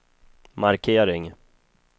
markering